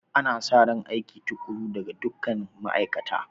Ana sa ran aiki tukuru daga dukkan ma'aikata